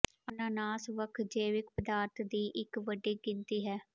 ਅਨਾਨਾਸ ਵੱਖ ਜੈਵਿਕ ਪਦਾਰਥ ਦੀ ਇੱਕ ਵੱਡੀ ਗਿਣਤੀ ਹੈ